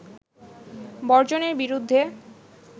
বর্জনের বিরুদ্ধে